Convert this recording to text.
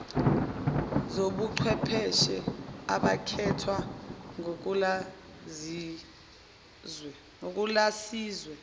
zobuchwepheshe abakhethwa nguthulasizwe